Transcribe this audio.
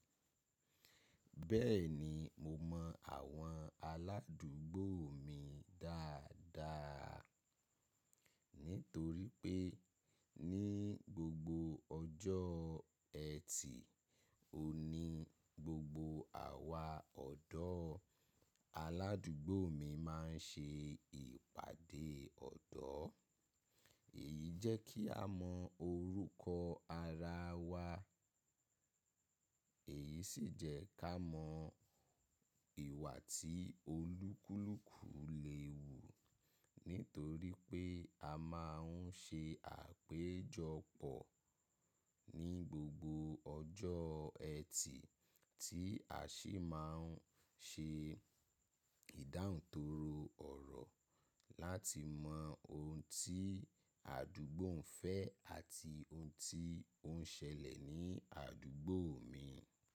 Bẹ́ẹ̀ni mo mọ àwọn aládùúgbò mi dáadáa nítorí pé ní gbogbo ọjọ́ Ẹtì, ó ní gbogbo àwa ọ̀dọ́ aládùúgbò mi máa ń ṣe ìpàdé ọ̀dọ́. Èyí jẹ́ kí a mọ orúkọ ara wa, èyí sì jẹ́ ká mọ ìwà tí olúkúlùkù lè wù nítorí pé a máa ń ṣe àpéjọpọ̀ ní gbogbo ọjọ́ Ẹtì tí a sì máa ń ṣe ìdáhùntọrọ ọ̀rọ̀ láti mọ ohun tí àdúgbò ń fẹ́ àti ohun tí ó ń ṣẹlẹ̀ ní àdúgbò mi.